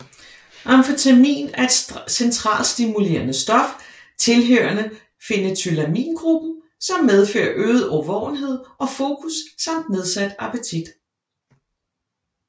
Amfetamin er et centralstimulerende stof tilhørende phenethylamingruppen som medfører øget årvågenhed og fokus samt nedsat appetit